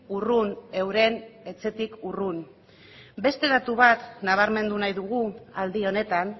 urrun euren etxetik urrun beste datu bat nabarmendu nahi dugu aldi honetan